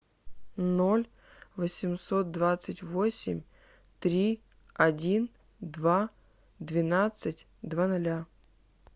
ноль восемьсот двадцать восемь три один два двенадцать два ноля